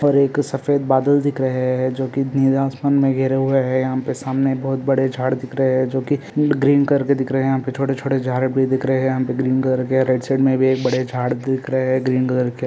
पर एक सफ़ेद बादल दिख रहे है जो की नीले आसमान में गेरे हुये है यहाँ पे सामने बहुत सारे बड़े झाड़ दिख रहे हे जो की ग्रीन करके दिख रहे है यहा पे छोटे-छोटे झाड भी दिख रहे है यहां पे ग्रीन कलर के रेड शेड में भी एक बडे झाड दिख रहे है ग्रीन कलर के।